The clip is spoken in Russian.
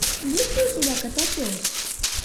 есть ли у тебя котопес